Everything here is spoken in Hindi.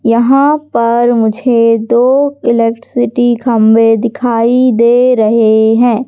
यहां पर मुझे दो इलेक्ट्रिसिटी खंभे दिखाई दे रहे हैं।